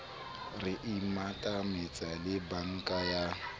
re imatahantse le banka ya